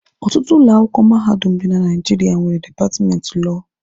Ọtụtụ ụlọ akwụkwọ mahadum dị na Naijiria nwere dipatmenti lọọ